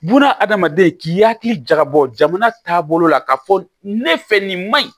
Buna adamaden k'i hakili jagabɔ jamana taabolo la k'a fɔ ne fɛ nin ma ɲi